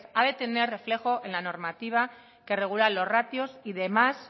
ha de tener reflejo en la normativa que regula los ratios y demás